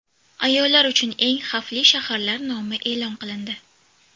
Ayollar uchun eng xavfli shaharlar nomi e’lon qilindi .